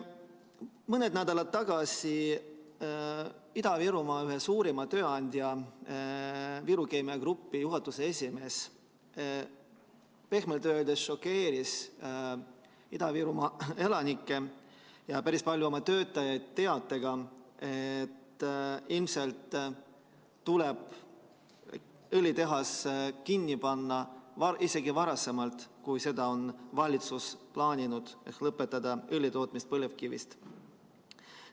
Mõned nädalad tagasi Ida-Virumaa ühe suurima tööandja Viru Keemia Grupi juhatuse esimees pehmelt öeldes šokeeris Ida-Virumaa elanikke ja päris paljusid oma töötajaid teatega, et ilmselt tuleb õlitehas kinni panna isegi varasemalt, kui seda on valitsus plaaninud, ehk lõpetada õli tootmine põlevkivist.